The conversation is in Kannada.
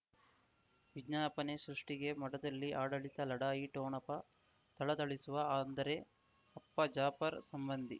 ವಿಜ್ಞಾಪನೆ ಸೃಷ್ಟಿಗೆ ಮಠದಲ್ಲಿ ಆಡಳಿತ ಲಢಾಯಿ ಠೋಣಪ ಥಳಥಳಿಸುವ ಅಂದರೆ ಅಪ್ಪ ಜಾಫರ್ ಸಂಬಂಧಿ